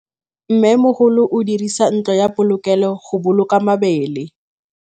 Mmêmogolô o dirisa ntlo ya polokêlô, go boloka mabele.